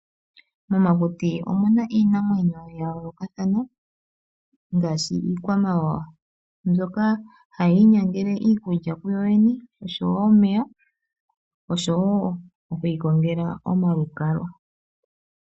Momakuti omuna iinamwenyo yayolokathana ngaashi iikwamawawa ndjoka hayii nyangele iikulya ku yoyene nosho woo omeya nomalukalwa.